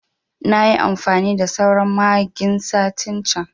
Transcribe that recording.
Nayi amfani da sauran magin satin can